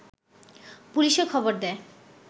পুলিশে খবর দেয়